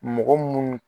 Mɔgɔ munnu